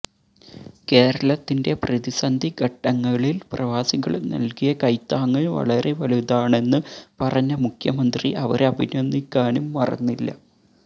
കേരളത്തിന്റെ പ്രതിസന്ധി ഘട്ടങ്ങളില് പ്രവാസികള് നല്കിയ കൈത്താങ്ങ് വളരെ വലുതാണെന്ന് പറഞ്ഞ മുഖ്യമന്ത്രി അവരെ അഭിനന്ദിക്കാനും മറന്നില്ല